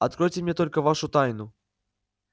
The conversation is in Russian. откройте мне только вашу тайну